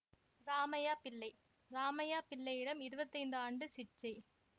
இராமையா பிள்ளை ராமையா பிள்ளையிடம் இருபத்தி ஐந்து ஆண்டு சிட்சை